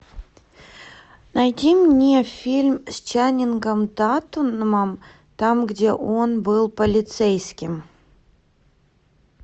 найди мне фильм с ченнингом татумом там где он был полицейским